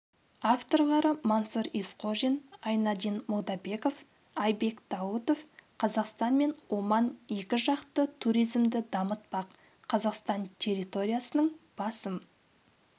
авторлары мансұр есқожин айнадин молдабеков айбек даутов қазақстан мен оман екіжақты туризмді дамытпақ қазақстан территориясының басым